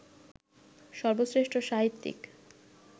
সর্বশ্রেষ্ঠ সাহিত্যিক